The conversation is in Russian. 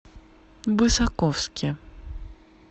высоковске